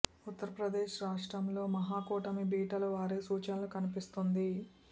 ఉత్తర్ ప్రదేశ్ రాష్ట్రంలో మహాకూటమి బీటలు వారే సూచనలు కన్పిస్తోంది